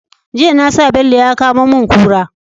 Jiya nasa bello ya kamo mun kura